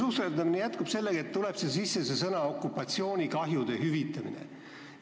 Ja see susserdamine jätkub sellega, et tuleb sisse see "okupatsioonikahjude hüvitamine".